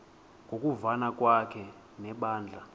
ngokuvana kwakhe nebandla